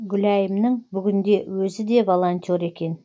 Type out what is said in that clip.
гүлайымың бүгінде өзі де волонтер екен